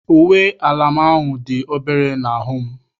Uwe ala m ahụ dị obere n'ahụ m.